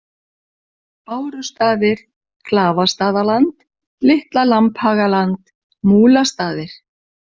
Bárustaðir, Klafastaðaland, Litla Lambhagaland, Múlastaðir